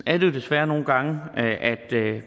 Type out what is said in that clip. er det jo desværre nogle gange at